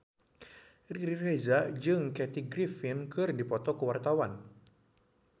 Riri Reza jeung Kathy Griffin keur dipoto ku wartawan